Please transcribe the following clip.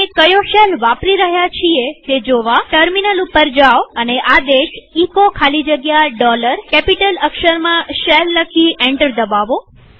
આપણે કયો શેલ વાપરી રહ્યા છીએ તે જોવા ટર્મિનલ ઉપર જાઓ અને આદેશ એચો ખાલી જગ્યા કેપિટલ અક્ષરમાં શેલ લખી એન્ટર દબાવો